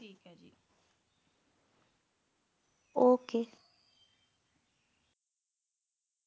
okay